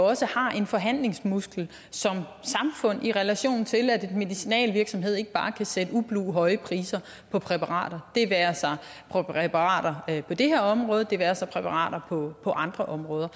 også har en forhandlingsmuskel i relation til at en medicinalvirksomhed ikke bare kan sætte ublu høje priser på præparater det være sig præparater på det her område det være sig præparater på andre områder